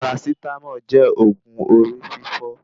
Parasitámọ̀ jẹ́ òògun orí fífọ́